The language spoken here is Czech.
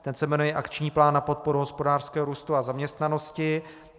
Ten se jmenuje Akční plán na podporu hospodářského růstu a zaměstnanosti.